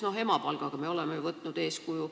Näiteks emapalga puhul me oleme ju võtnud eeskuju.